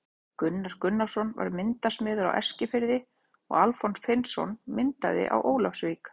Gunnar Gunnarsson var myndasmiður á Eskifirði og Alfons Finnsson myndaði á Ólafsvík.